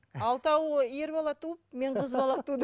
алтауы ер бала туып мен қыз бала тудым